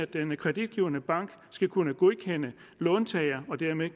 den kreditgivende bank skal kunne godkende låntager og dermed